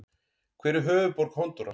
Hver er höfuðborg Honduras?